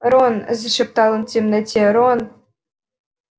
рон зашептал он в темноте рон